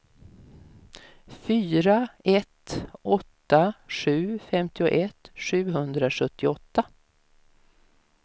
fyra ett åtta sju femtioett sjuhundrasjuttioåtta